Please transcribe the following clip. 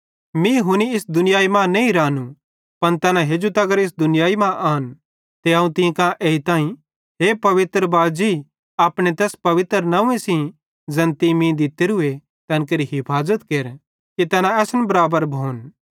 मीं हुनी इस दुनियाई मां नईं रानू पन तैना हेजू इस दुनियाई मां आन ते अवं तीं कां एजताईं हे पवित्र बाजी अपने तैस नंव्वे सेइं ज़ैन तीं मीं दित्तोरूए तैन केरि हफाज़त केर कि तैना असन बराबर भोन